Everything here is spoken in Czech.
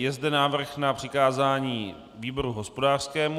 Je zde návrh na přikázání výboru hospodářskému.